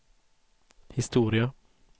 historia